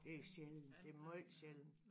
Det er sjældent det er måj sjældent